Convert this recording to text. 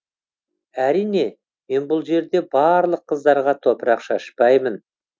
әрине мен бұл жерде барлық қыздарға топырақ шашпаймын